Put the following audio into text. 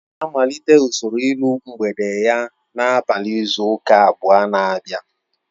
Ọ ga-amalite usoro iru mgbede ya n'abalị izu ụka abụọ na abia